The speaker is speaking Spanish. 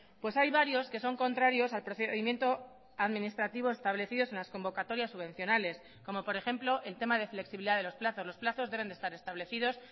pues hay varios que son contrarios al procedimiento administrativo establecidos en las convocatorias subvencionales como por ejemplo el tema de flexibilidad de los plazos los plazos deben de estar establecidos